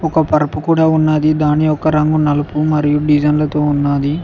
ఒక పరుపు కూడా ఉన్నది దాని ఒక రంగు నలుపు మరియు డిసైన్ లతో ఉన్నది.